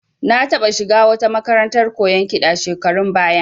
Na taɓa shiga wata makarantar koyon kiɗa shekarun baya